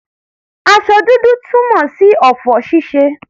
Aṣọ dúdú túmọ̀ sí ọ̀fọ̀ ṣíṣe.